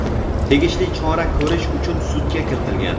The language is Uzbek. tegishli chora ko‘rish uchun sudga kiritilgan.